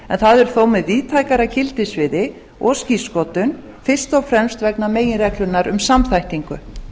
en það er þó með víðtækara gildissviði og skírskotun fyrst og fremst vegna meginreglunnar um samþættingu